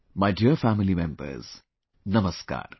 My dear family members, Namaskar